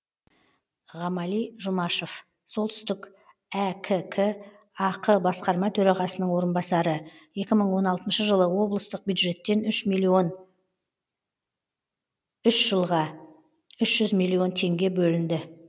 ғамали жұмашов солтүстік әкк ақ басқарма төрағасының орынбасары екі мың он алтыншы жылы облыстық бюджеттен үш миллион үш жылға үш жүз миллион теңге бөлінді